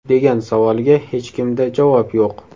degan savolga hechkimda javob yo‘q.